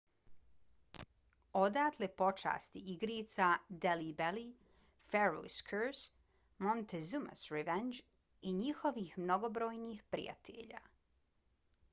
odatle pošasti igrica delhi belly pharaoh's curse montezuma's revenge i njihovih mnogobrojnih prijatelja